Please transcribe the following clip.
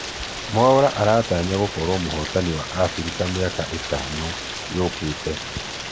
mwaura aratanya gũkorwo mũhotani wa africa miaka itano ĩũkĩte